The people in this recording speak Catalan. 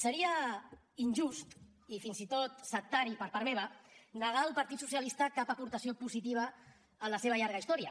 seria injust i fins i tot sectari per part meva negar al partit socialista cap aportació positiva en la seva llarga història